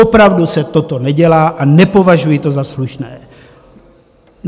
Opravdu se toto nedělá a nepovažuji to za slušné.